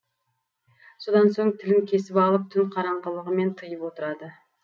содан соң тілін кесіп алып түн қараңғылығымен тайып отырады